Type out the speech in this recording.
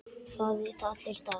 Það vita allir í dag.